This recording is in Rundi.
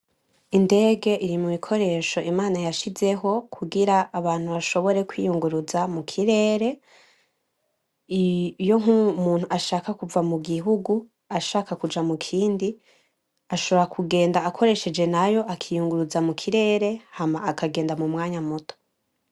Indege iri mu bikoresho Imana yashizeho kugira abantu bashobore kwiyunguruza mu kirere iyo nkubu umutu ashaka kuva mu gihugu ashaka kuja mu kindi ashobora kugenda akoresheje nayo akiyunguruza mu kirere hama akagenda mu mwanya muto.